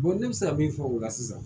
ne bɛ se ka min fɔ o la sisan